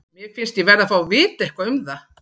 Mér finnst ég verði að fá að vita eitthvað um það.